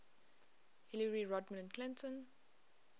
hillary rodham clinton